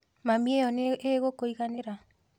Mami iyo nĩ igukũiganĩra